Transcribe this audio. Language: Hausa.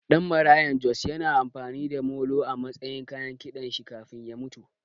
Ɗan Maraya Jos ya na amfani da molo a matsayin kayan kiɗan shi kafin mutuwar shi